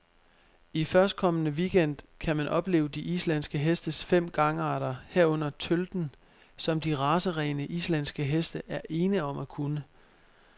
I førstkommende weekend gang kan man opleve de islandske hestes fem gangarter, herunder tølten, som de racerene, islandske heste er ene om at kunne.